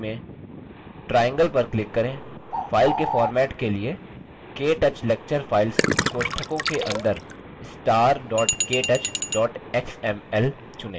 files के format के लिए ktouch lecture files कोष्ठकों के अंदर star ktouch xml चुनें